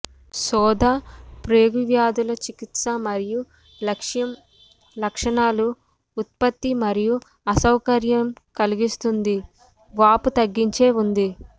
శోథ ప్రేగు వ్యాధుల చికిత్స యొక్క లక్ష్యం లక్షణాలు ఉత్పత్తి మరియు అసౌకర్యం కలిగిస్తుంది వాపు తగ్గించే ఉంది